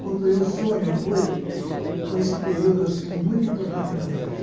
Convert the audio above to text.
Quando sonho a noite com esse período assim muito importante na minha vida.